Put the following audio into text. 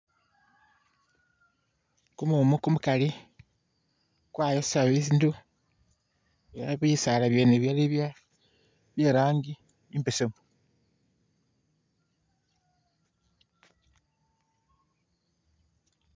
Kumumu kumukali kwayosa bindu ela bisaala byene bili bye bye erangi imbesemu